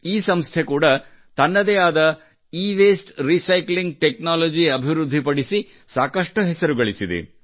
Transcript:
ಈ ಸಂಸ್ಥೆ ಕೂಡಾ ತನ್ನದೇ ಆದ ಈವಸ್ತೆ ರಿಸೈಕ್ಲಿಂಗ್ ಟೆಕ್ನಾಲಜಿ ಅಭಿವೃದ್ಧಿಪಡಿಸಿ ಸಾಕಷ್ಟು ಹೆಸರು ಗಳಿಸಿದೆ